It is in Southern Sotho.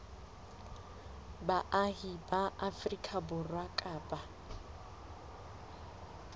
baahi ba afrika borwa kapa